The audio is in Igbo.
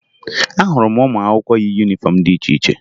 Ahụrụ m ụmụakwụkwọ yi yunifọmụ dị iche iche